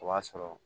O b'a sɔrɔ